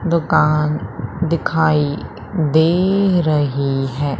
दुकान दिखाई दे रही है।